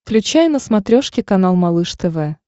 включай на смотрешке канал малыш тв